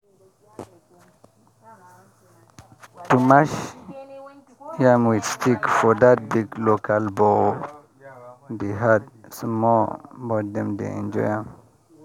to mash yam with stick for that big local bowl dey hard small but dem dey enjoy am